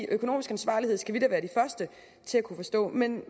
økonomisk ansvarlighed skal vi da være de første til at kunne forstå men